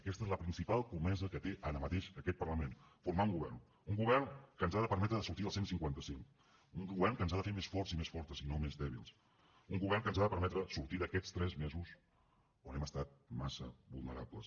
aquesta és la principal comesa que té ara mateix aquest parlament formar un govern un govern que ens ha de permetre sortir del cent i cinquanta cinc un govern que ens ha de fer més forts i més fortes i no més dèbils un govern que ens ha de permetre sortir d’aquests tres mesos on hem estat massa vulnerables